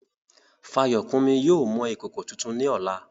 Fayokunmi yóò mọ ìkòkò tuntun ní ọ̀la.